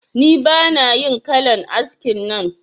Ni bana yin kalan askin nan